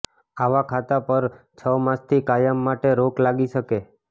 આવા ખાતા પર છ માસથી કાયમ માટે રોક લાગી શકે